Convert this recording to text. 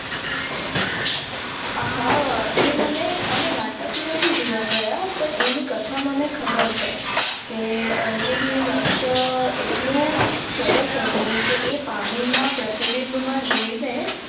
આહ એ મને અમે નાટક નથી જોવા ગયા પર એની કથા મને ખબર છે કે અર્જુન નું લક્ષ્ય અટકું સરસ હતું કે એ પાણી ના પ્રતિબીમ મા જોઈ ને